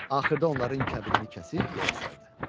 Axırda onların kəbinini kəsib yola saldı.